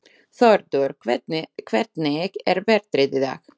Þórður, hvernig er veðrið í dag?